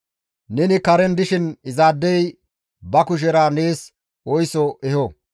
Neni karen dishin izaadey ba kushera nees oyso eho.